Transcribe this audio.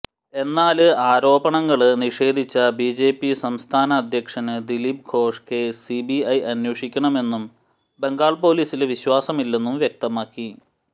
എന്നാല് ആരോപണങ്ങള് നിഷേധിച്ച ബിജെപി സംസ്ഥാന അധ്യക്ഷന് ദിലീപ് ഘോഷ് കേസ് സിബിഐ അന്വേഷിക്കണമെന്നും ബംഗാള് പോലീസില് വിശ്വാസമില്ലെന്നും വ്യക്തമാക്കി